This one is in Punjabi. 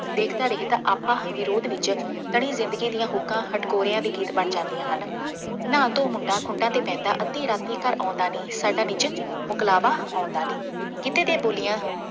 ਦੇਖਦਾ ਦੇਖਦਾ ਆਖਾਂ ਹਾਂ ਵਿਰੋਧ ਵਿੱਚ ਤਣੀ ਜ਼ਿੰਦਗੀ ਦੀਆਂ ਹੁੱਕਾਂ ਹਿਟਕੋਰਿਆਂ ਦੇ ਗੀਤ ਬਣ ਜਾਂਦੀਆਂ ਹਨ। ਨਾ ਤੂੰ ਮੁੰਡਾ ਖੁੰਡਾ ਤੇ ਬਹਿੰਦਾ ਅੱਧੀ ਰਾਤੀ ਘਰ ਆਉਂਦਾ ਨਹੀਂ, ਸਾਡਾ ਨਿੱਜ ਮੁਕਲਾਵਾ ਆਉਂਦਾ ਨਹੀਂ, ਗਿੱਧੇ ਅਤੇ ਬੋਲੀਆਂ